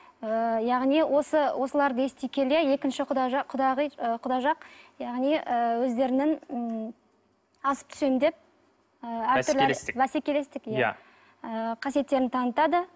ы яғни осыларды ести келе екінші құда жақ құдағи құда жақ яғни ы өздерінің ммм асып түсемін деп ы бәсекелестік бәсекелестік иә ы қасиеттерін танытады